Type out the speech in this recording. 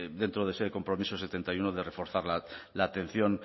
dentro de ese compromiso setenta y uno de reforzar la atención